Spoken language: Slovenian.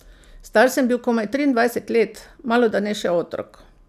Star sem bil komaj triindvajset let, malodane še otrok.